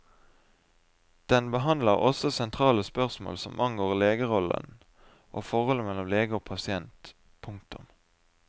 Den behandler også sentrale spørsmål som angår legerollen og forholdet mellom lege og pasient. punktum